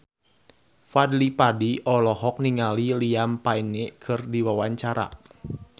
Fadly Padi olohok ningali Liam Payne keur diwawancara